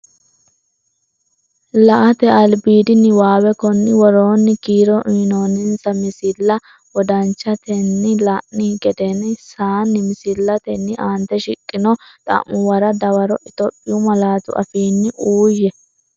La”ate albiidi niwaawe Konni woroonni kiiro uyinoonninsa misilla wodanchitine la’ini geden- saanni misillatenni aante shiqqino xa’muwara dawaro Itophiyu malaatu afiinni uuyye.